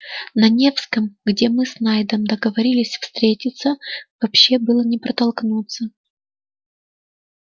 на невском где мы с найдом договорились встретиться вообще было не протолкнуться